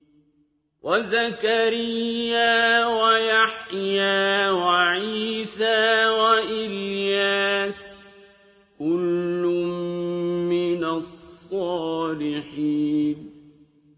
وَزَكَرِيَّا وَيَحْيَىٰ وَعِيسَىٰ وَإِلْيَاسَ ۖ كُلٌّ مِّنَ الصَّالِحِينَ